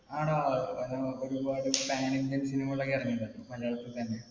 ആടാ ഒരുപാട് pan Indian cinema കൾ ഒക്കെ ഇറങ്ങീട്ട്ണ്ട് മലയാളത്തിൽ തന്നെ.